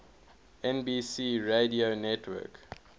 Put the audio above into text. nbc radio network